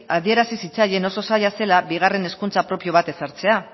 adierazi zitzaien oso zaila zela bigarren hezkuntza propio bat ezartzea